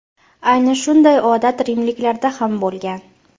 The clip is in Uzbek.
Ayni shunday odat rimliklarda ham bo‘lgan.